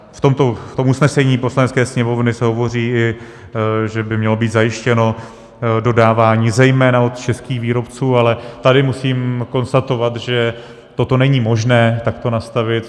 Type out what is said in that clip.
V tom usnesení Poslanecké sněmovny se hovoří, i že by mělo být zajištěno dodávání zejména od českých výrobců, ale tady musím konstatovat, že toto není možné takto nastavit.